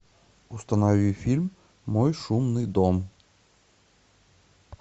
установи фильм мой шумный дом